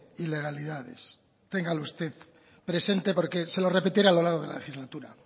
ilegalidades téngalo usted presente porque se lo repetiré a lo largo de la legislatura